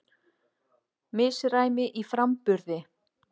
Misræmi í framburði